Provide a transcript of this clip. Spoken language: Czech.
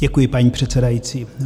Děkuji, paní předsedající.